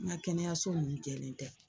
N ka kɛnɛyaso nun jɛlen tɛ.